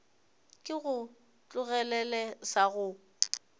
ke go tlogelele sa go